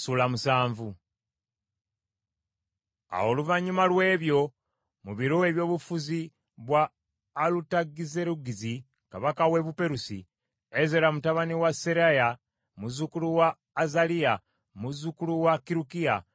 Awo oluvannyuma lw’ebyo, mu biro eby’obufuzi bwa Alutagizerugizi kabaka w’e Buperusi, Ezera mutabani wa Seraya, muzzukulu wa Azaliya, muzzukulu wa Kirukiya,